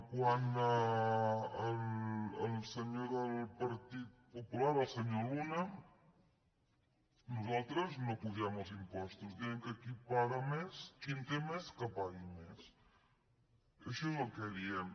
quant al senyor del partit popular el senyor luna nosaltres no apugem els impostos diem que qui en té més que pagui més això és el que diem